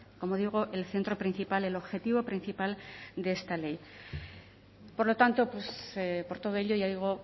como digo el centro principal el objetivo principal de esta ley por lo tanto por todo ello ya digo